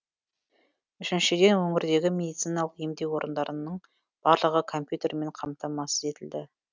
үшіншіден өңірдегі медициналық емдеу орындарының барлығы компьютермен қамтамасыз етілді